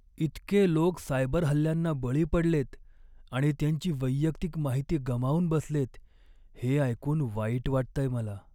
इतके लोक सायबर हल्ल्यांना बळी पडलेत आणि त्यांची वैयक्तिक माहिती गमावून बसलेत हे ऐकून वाईट वाटतंय मला.